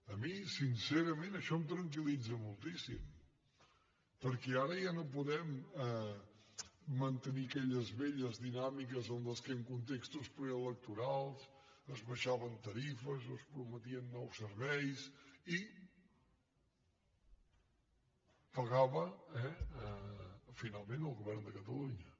a mi sincerament això em tranquiltenir aquelles velles dinàmiques en què en contextos preelectorals s’abaixaven tarifes o es prometien nous serveis i pagava finalment el govern de catalunya